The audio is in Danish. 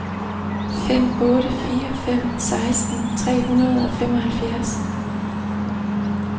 fem otte fire fem seksten tre hundrede og femoghalvfjerds